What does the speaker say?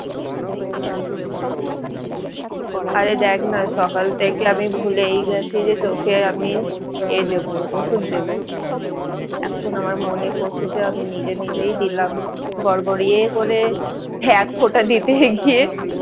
আরে দেখ না সকাল থেকে আমি ভুলেই গেছি যে চোখে আমি এ দেব ওষুধ দেব এখন আমার মনে পড়ছে যে আমি নিজে নিজেই দিলাম গড়গড়িয়ে করে এক ফোঁটা দিতে গিয়ে